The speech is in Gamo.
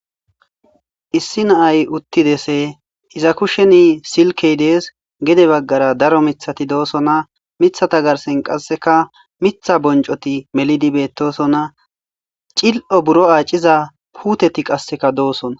issi naay uttidese iza kusheni silkey dees. gede baggara daro miththati doosona. mithata garsen qasseka miitha bonccoti melidi bettosonna. cil''o buro aaciza puteti qasseka doossona.